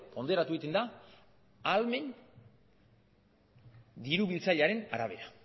hondoratu egiten da ahalmen diru biltzailearen arabera